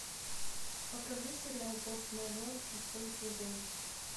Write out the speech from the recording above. покажи сериал форс мажор шестой сезон